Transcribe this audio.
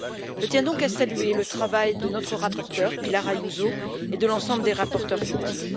Je tiens donc à saluer le travail de notre rapporteure, Pilar Ayuso, et de l'ensemble des rapporteurs fictifs.